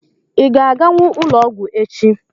Ị ga-aganwu ụlọọgwụ echi?